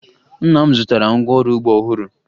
Nna m zụtara ngwaọrụ ugbo ọhụrụ